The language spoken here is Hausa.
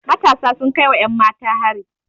Matasa sun kai wa 'yanmata hari.